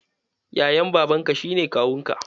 Yayan babanka shi ne kawunka.